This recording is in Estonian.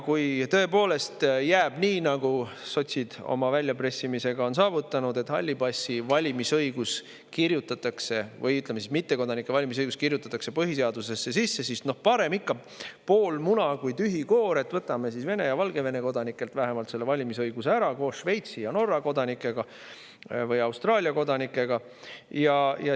Kui tõepoolest jääb nii, nagu sotsid oma väljapressimisega on saavutanud, et hallide passide valimisõigus, või ütleme siis, mittekodanike valimisõigus kirjutatakse põhiseadusesse sisse, siis parem ikka pool muna kui tühi koor, võtame siis vähemalt Vene ja Valgevene kodanikelt selle valimisõiguse ära koos Šveitsi ja Norra kodanikega või Austraalia kodanikega.